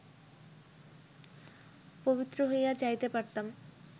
পবিত্র হইয়া যাইতে পারতাম